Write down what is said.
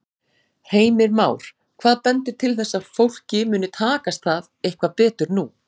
Heimir Már: Hvað bendir til þess að fólki muni takast það eitthvað betur nú?